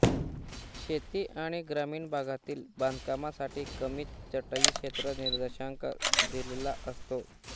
शेती आणि ग्रामीण भागातील बांधकामासाठी कमी चटई क्षेत्र निर्देशांक दिलेला असतो